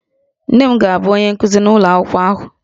Nne m ga-abụ onye nkuzi n'ụlọ akwụkwọ ahụ